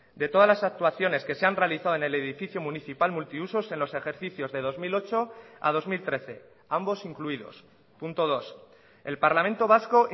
de todas las actuaciones que se han realizado en el edificio municipal multiusos en los ejercicios de dos mil ocho a dos mil trece ambos incluidos punto dos el parlamento vasco